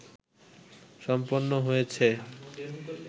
সম্পন্ন হয়েছে